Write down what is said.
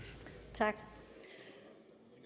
tak